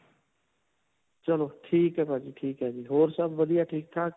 ਚਲੋ ਠੀਕ ਹੈ ਭਾਜੀ ਠੀਕ ਹੈ ਜੀ. ਹੋਰ ਸਭ ਵਧੀਆ ਠੀਕ-ਠਾਕ?